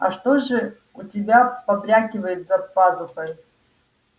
а что же у тебя побрякивает за пазухой